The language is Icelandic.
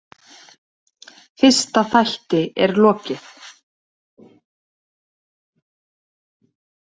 Fyrsta þætti er lokið.